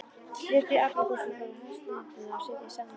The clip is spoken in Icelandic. Brytjið apríkósurnar og heslihneturnar og setjið saman við.